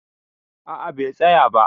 A'a, bai tsaya ba.